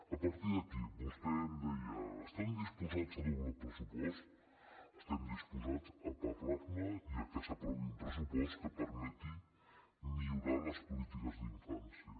a partir d’aquí vostè em deia estan disposats a doblar el pressupost estem disposats a parlar ne i a que s’aprovi un pressupost que permeti millorar les polítiques d’infància